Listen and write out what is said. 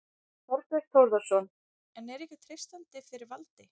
Þorbjörn Þórðarson: En er ykkur treystandi fyrir valdi?